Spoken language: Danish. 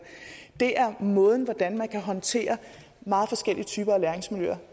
det er den måde man kan håndtere meget forskellige typer af læringsmiljøer